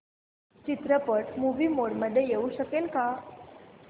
चित्रपट movie mode मध्ये येऊ शकेल का